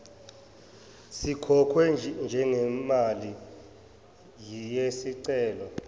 sikhokhwe njengemali yesicelo